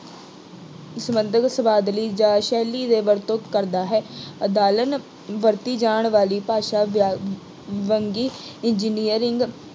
ਸੰਬੰਧਿਤ ਸ਼ਬਦਾਵਲੀ ਜਾਂ ਸ਼ੈਲੀ ਦੇ ਵਰਤੋਂ ਕਰਦਾ ਹੈ। ਅਦਾਲਨ ਵਰਤੀ ਜਾਣ ਵਾਲੀ ਭਾਸ਼ਾ ਵਿਆ ਵੰਨਗੀ ਇੰਜ਼ੀਨੀਅਰਿੰਗ